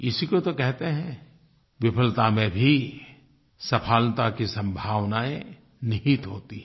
इसी को तो कहते हैं विफलता में भी सफलता की संभावनायें निहित होती हैं